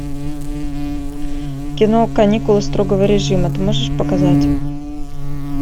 кино каникулы строгого режима ты можешь показать